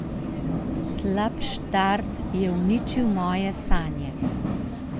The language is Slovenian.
Slab štart je uničil moje sanje.